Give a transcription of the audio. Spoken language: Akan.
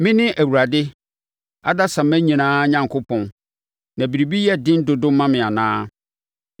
“Mene Awurade adasamma nyinaa Onyankopɔn. Na biribi yɛ den dodo ma me anaa?